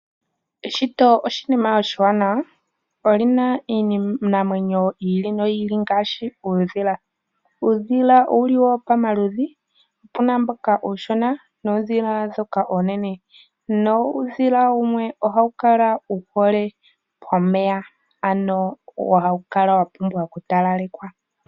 Eshito oshinima oshiwanawa, oli na iinamwenyo yi ili noyi ili ngaashi uudhila. Uudhila owuli wo pamaludhi opu na mboka uushona noondhila ndhoka oonene nuudhila wumwe ohawu kala wuhole pomeya ano hawu kala wapumbwa okutalalekwa.